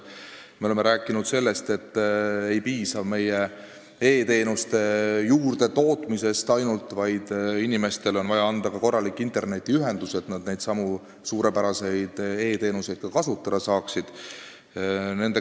Me oleme rääkinud sellest, et ei piisa ainult e-teenuste juurdetootmisest, vaid inimestel on vaja ka korralikku internetiühendust, et nad neid suurepäraseid e-teenuseid kasutada saaksid.